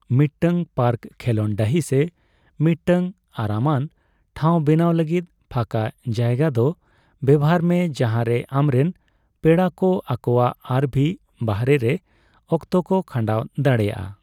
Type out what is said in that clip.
ᱢᱤᱫᱴᱟᱝ ᱯᱟᱨᱠ, ᱠᱷᱮᱞᱚᱸᱰ ᱰᱟᱺᱦᱤ ᱥᱮ ᱢᱤᱫᱴᱟᱝ ᱟᱨᱟᱢᱟᱱ ᱴᱷᱟᱸᱣ ᱵᱮᱱᱟᱣ ᱞᱟᱹᱜᱤᱫ ᱯᱷᱟᱸᱠᱟ ᱡᱟᱭᱜᱟᱫᱚ ᱵᱮᱣᱦᱟᱨ ᱢᱮ ᱡᱟᱦᱟᱸ ᱨᱮ ᱟᱢᱨᱮᱱ ᱯᱮᱲᱟ ᱠᱚ ᱟᱠᱚᱣᱟᱜ ᱟᱨᱹᱵᱷᱤ ᱵᱟᱦᱚᱨᱮ ᱨᱮ ᱚᱠᱛᱚ ᱠᱚ ᱠᱷᱟᱱᱰᱟᱣ ᱫᱟᱲᱮᱭᱟᱜᱼᱟ ᱾